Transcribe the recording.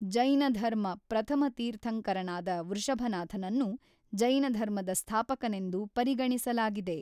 ಜೈನ ಧರ್ಮ ಪ್ರಥಮ ತೀರ್ಥಂಕರನಾದ ವೃಷಭನಾಥನನ್ನು ಜೈನಧರ್ಮದ ಸ್ಥಾಪಕನೆಂದು ಪರಿಗಣಿಸಲಾಗಿದೆ.